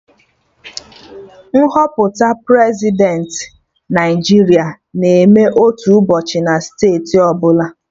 Nhọpụta Prezidentị Naijiria na-eme otu ụbọchị na steeti ọbụla